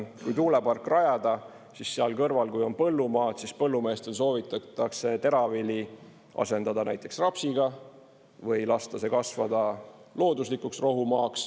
Kui tuulepark rajada, siis seal kõrval, kui on põllumaad, põllumeestel soovitatakse teravili asendada näiteks rapsiga või lasta see kasvada looduslikuks rohumaaks.